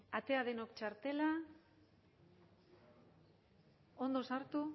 atera denok txartela ondo sartu